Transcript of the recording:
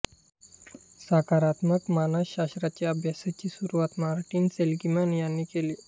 सकारात्मक मानसशास्त्राच्या अभ्यासाची सुरूवात मार्टीन सेलिग्मन यांनी केली